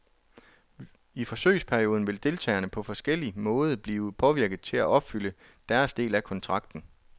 I forsøgsperioden vil deltagerne på forskellige måde blive påvirket til af opfylde deres del af kontrakten.